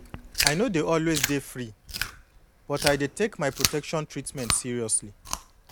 i no dey always dey free but i dey take my protection treatment seriously